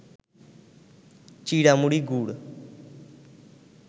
চিঁড়ামুড়ি, গুড়